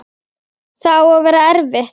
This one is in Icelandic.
Það á að vera erfitt.